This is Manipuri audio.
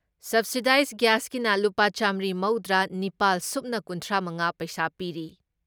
ꯁꯕꯁꯤꯗꯥꯏꯖ ꯒ꯭ꯌꯥꯁꯀꯤꯅ ꯂꯨꯄꯥ ꯆꯥꯃꯔꯤ ꯃꯧꯗ꯭ꯔꯥ ꯅꯤꯄꯥꯜ ꯁꯨꯞꯅ ꯀꯨꯟꯊ꯭ꯔꯥ ꯃꯉꯥ ꯄꯩꯁꯥ ꯄꯤꯔꯤ ꯫